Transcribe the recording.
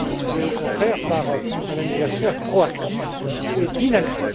mais au contraire par un anniversaire proactif et dynamique.